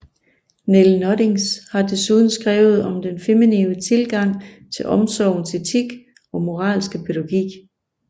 Nel Noddings har desuden skrevet om den feminine tilgang til omsorgens etik og moralske pædagogik